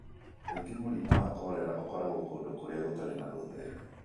Kaingĩ mũrimũ wa korera ũkoragwo kũndũ kũrĩa gũtarĩ na ũtheru.